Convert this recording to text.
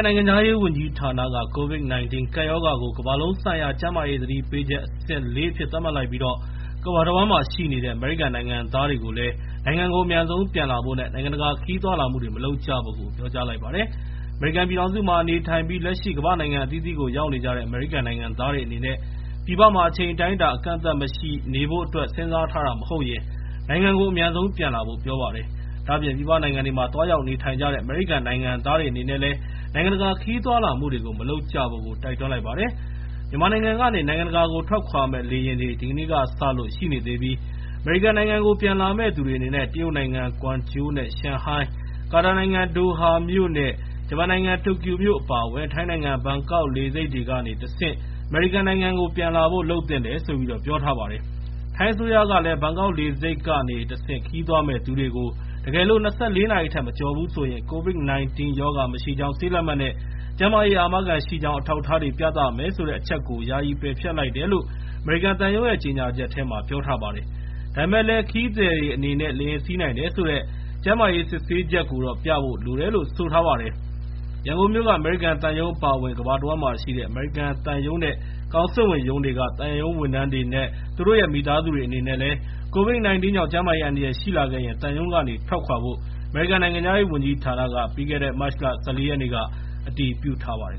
နိုင်ငံခြားရေးဝန်ကြီးဌာနက COVID-19 ကပ်ရောဂါကို ကမ္ဘာလုံးဆိုင်ရာကျန်းမာရေး သတိပေးချက် အဆင့် ၄ အဖြစ်နဲ့ သတ်မှတ်လိုက်ပြီး ကမ္ဘာတဝန်းမှာရှိနေတဲ့ အမေရိကန်နိုင်ငံသားတွေကိုလည်း နိုင်ငံကိုအမြန်ဆုံးပြန်လာဖို့နဲ့ နိုင်ငံတကာ ခရီးသွားလာမှုတွေ မလုပ်ကြဖို့ ပြောကြားလိုက်ပါတယ်။ အမေရိကန်ပြည်ထောင်စုမှာ နေထိုင်ပြီး လက်ရှိကမ္ဘာ့နိုင်ငံအသီးသီးကို ရောက်နေကြတဲ့ အမေရိကန်နိုင်ငံသားတွေအနေနဲ့ ပြည်ပမှာ အချိန်အတိုင်းအတာ အကန့်အသတ် မရှိနေဖို့အတွက် စဉ်းစားထားတာမဟုတ်ရင် နိုင်ငံကို အမြန်ဆုံး ပြန်လာဖို့ ပြောပါတယ်။ ဒါ့အပြင် ပြည်ပနိုင်ငံတွေမှာ သွားရောက်နေထိုင်နေကြတဲ့ အမေရိကန်နိုင်ငံသားတွေ အနေနဲ့လည်း နိုင်ငံတကာခရီးသွားလာမှုတွေ မလုပ်ကြဖို့ကို တိုက်တွန်းလိုက်ပါတယ်။ မြန်မာနိုင်ငံကနေ နိုင်ငံတကာကို ထွက်ခွာမယ့်လေယာဉ်တွေ ဒီကနေ့ကစလို့ ရှိနေသေပြီး အမေရိကန်နိုင်ငံကို ပြန်လာမယ့်သူတွေအနေနဲ့ တရုတ်နိုင်ငံ ကွမ်ကျိုနဲ့ ရှန်ဟိုင်း၊ ကာတာနိုင်ငံ ဒိုဟာမြို့၊ ဂျပန်နိုင်ငံ တိုကျိုမြို့နဲ့ ထိုင်းနိုင်ငံ ဘန်ကောက်မြို့ လေဆိပ်တွေကနေ တဆင့် အမေရိကန်နိုင်ငံကို ပြန်လာဖို့ လုပ်သင့်တယ်လို့ ပြောထားပါတယ်။ ထိုင်းအစိုးရကလည်း ဘန်ကောက်လေဆိပ်ကနေတဆင့်ခရီးသွားမယ့်သူတွေကို တကယ်လို့ ၂၄ နာရီထက် မကျော်ဘူးဆိုရင် COVID-19 ရောဂါမရှိကြောင်း ဆေးလက်မှတ်နဲ့ ကျန်းမာရေးအာမခံရှိကြောင်း အထောက်အထားတွေ ပြသရမယ်ဆိုတဲ့ အချက်ကို ယာယီပယ်ဖျက်လိုက်တယ်လို့ အမေရိကန်သံရုံးရဲ့ ကြေငြာချက်ထဲမှာ ပြောထားပါတယ်။ ဒါပေမဲ့လည်း ခရီးသည်အနေနဲ့ လေယာဉ်စီးနိုင်တယ်ဆိုတဲ့ ကျန်းမာရေးဆေးစစ်ချက်ကိုတော့ ပြဖို့လိုတယ်လို့ ဆိုထားပါတယ်။ ရန်ကုန်မြို့က အမေရိကန်သံရုံးအပါအဝင် ကမ္ဘာတဝန်းမှာရှိတဲ့ အမေရိကန်သံရုံးနဲ့ ကောင်စစ်ဝန်ရုံးက သံဝန်ထမ်းတွေနဲ့ သူတို့ရဲ့ မိသားစုတွေအနေနဲ့လည်း COVID-19 ကြောင့် ကျန်းမာရေးအန္တရာယ်ရှိလာခဲ့ရင် သံရုံးကနေ ထွက်ခွာဖို့ အမေရိကန်နိုင်ငံခြားရေးဝန်ကြီးဌာနက မတ်လ ၁၄ ရက်နေ့က အတည်ပြုထားပါတယ်